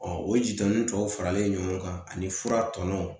o jitɔnntɔw faralen ɲɔgɔn kan ani fura tɔnɔ